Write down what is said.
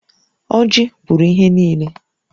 Ọjị kwuru ihe nille